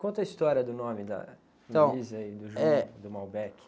Conta a história do nome da...ntão, eh...a e do, do.